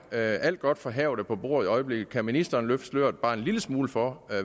er alt godt fra havet på bordet i øjeblikket kan ministeren løfte sløret bare en lille smule for